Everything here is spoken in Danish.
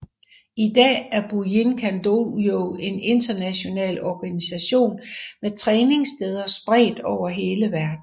I dag er Bujinkan Dojo en international organisation med træningssteder spredt over hele verden